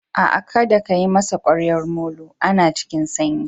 A'a kadda ka yi masa ƙwaryar molo. Ana cikin sanyi.